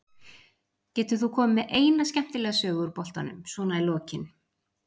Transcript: Getur þú komið með eina skemmtilega sögu úr boltanum svona í lokin?